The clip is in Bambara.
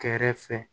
Kɛrɛfɛ